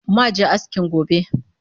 Ma je askin gobe